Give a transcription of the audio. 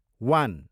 one